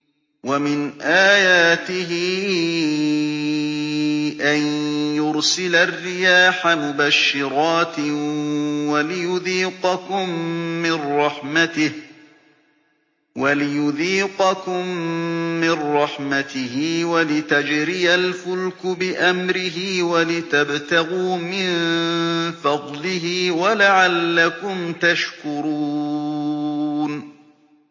وَمِنْ آيَاتِهِ أَن يُرْسِلَ الرِّيَاحَ مُبَشِّرَاتٍ وَلِيُذِيقَكُم مِّن رَّحْمَتِهِ وَلِتَجْرِيَ الْفُلْكُ بِأَمْرِهِ وَلِتَبْتَغُوا مِن فَضْلِهِ وَلَعَلَّكُمْ تَشْكُرُونَ